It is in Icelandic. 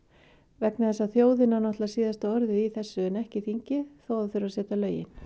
vegna þess að þjóðin á náttúrulega síðasta orðið í þessu en ekki þingið þó að það þurfi að setja lögin